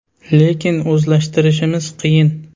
– Lekin o‘zlashtirishimiz qiyin.